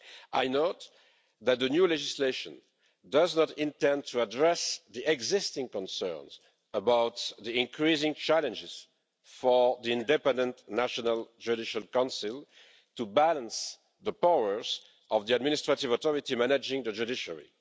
I note that the new legislation does not intend to address the existing concerns about the increasing challenges that the independent National Judicial Council faces in balancing the powers of the administrative authority managing the judiciary.